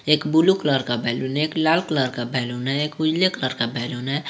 एक blue colour का balloon है एक लाल कलर का बैलून है एक उजले कलर का बैलून है।